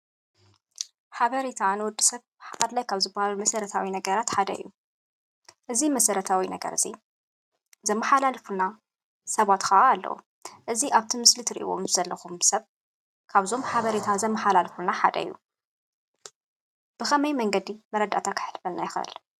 ሓበሬታ ንወድ ሰብ ኣድላይ ካብዝባሃሉ መሰረታዊ ነገራት ሓደ እዩ። እዚ መሰረታዊ ነገር እዚ ዘመሐላልፍልና ሰባት ካዓ ኣለዉ። እዚ ኣብቲ ምስሊ ትሪእዎ ዘለኩም ሰብ ካብ ኣዞም ሐበሬታ ዘመሐላልፍልና ሐደ እዩ። ብኸመይ መንገዲ መረዳእታ ከሕልፈልና ይኽእል?